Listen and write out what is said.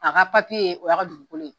A ka papiye o y' ka dugukolo ye.